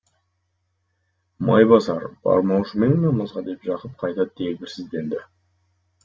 майбасар бармаушы ма ең намазға деп жақып қайта дегбірсізденді